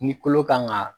Ni kolo kan ga